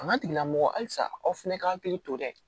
Fanga tigilamɔgɔ halisa aw fɛnɛ ka hakili to dɛ